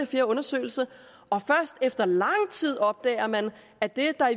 fjerde undersøgelse og først efter lang tid opdager man at det der